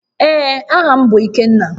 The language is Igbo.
Ee, aha m bu Ikenna